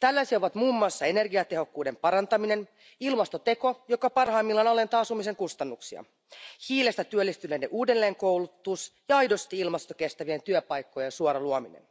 Tällaisia ovat muun muassa energiatehokkuuden parantaminen, ilmastoteko, joka parhaimmillaan alentaa asumisen kustannuksia, hiilestä työllistyneiden uudelleenkoulutus ja aidosti ilmastokestävien työpaikkojen suora luominen.